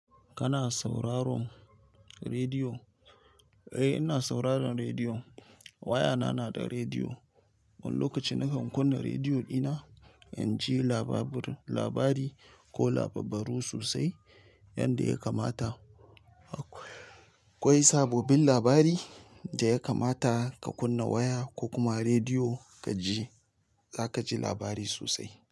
Kana sauraron rediyo? Eh, ina sauraron rediyo. Wayana na da rediyo. Wani lokaci nakan kunna rediyo dina, in ji labari ko labarru sosai yanda ya kamata. Akwai sabobin labari da ya kamata ka kunna waya ko kuma rediyo ka ji, za ka ji labari sosai.